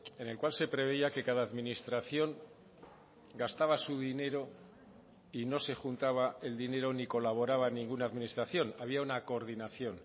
en el cual se preveía que cada administración gastaba su dinero y no se juntaba el dinero ni colaboraba ninguna administración había una coordinación